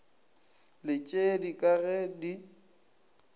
le tšeli ka ge di